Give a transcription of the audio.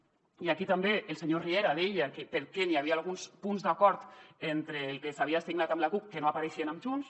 i aquí també el senyor riera deia que per què n’hi havia alguns punts d’acord entre el que s’havia signat amb la cup que no apareixien amb junts